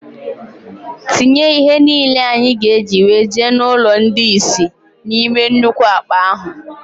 Tinye ihe niile anyị ga-eji wee jee n' ụlọ ndị isi na-ime nnukwu akpa ahụ!!!